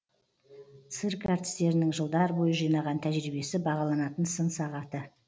цирк әртістерінің жылдар бойы жинаған тәжірибесі бағаланатын сын сағаты